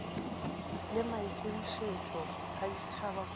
le maikemišetšo a ditšhaba kopano